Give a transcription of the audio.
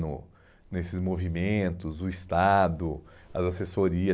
no nesses movimentos, o Estado, as assessorias.